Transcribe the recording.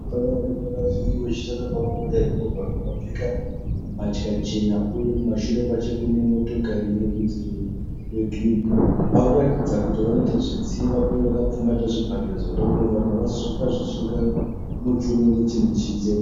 Pane varume vaviri. Vakapfeka mbatya chena uye kumashure kwacho kune motokari ine rudzi rwegirini. Vari kuratidza kuti vanoita zvetsiva uye vakapfumbata zvibhakera zvavanoda kurova vanhu. Vakazvisunga muchiuno nechinhu chichena.